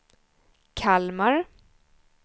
Kalmar